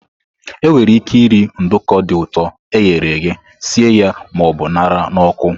Enwere ike iri nduko dị ụtọ e ghere eghe, sie ya ma ọ bụ ṅara n'ọkụ.